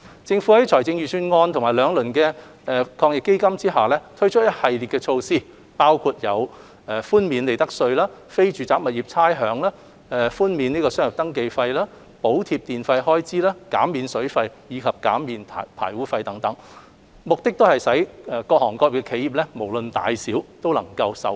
政府在財政預算案及兩輪防疫抗疫基金下推出一系列措施，包括寬免利得稅、非住宅物業差餉和商業登記費、補貼電費開支、減免水費及排污費等，目的是令企業無論大小都能受惠。